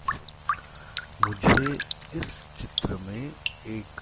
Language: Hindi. मुझे इस चित्र में एक--